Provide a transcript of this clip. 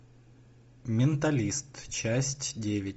менталист часть девять